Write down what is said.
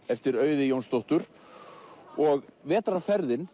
eftir Auði Jónsdóttur og